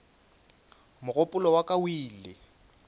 mogopolo wa ka o ile